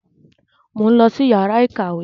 Mo ń lọ sí yàrá ìkàwé.